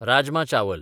राजमा चावल